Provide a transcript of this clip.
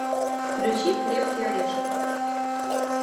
включи крепкий орешек